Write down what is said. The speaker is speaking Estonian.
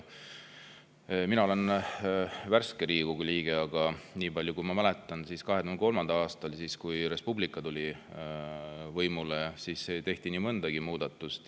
Mina olen värske Riigikogu liige, aga nii palju, kui ma mäletan, siis 2003. aastal, kui Res Publica tuli võimule, tehti nii mõnigi muudatus.